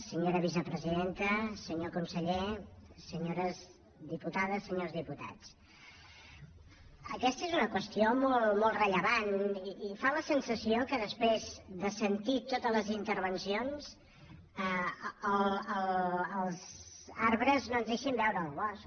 senyora vicepresidenta senyor conseller senyores diputades senyors diputats aquesta és una qüestió molt rellevant i fa la sensació que després de sentir totes les intervencions els arbres no ens deixin veure el bosc